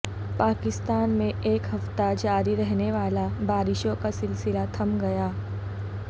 پاکستان میں ایک ہفتے جاری رہنے والا بارشوں کا سلسلہ تھم گیا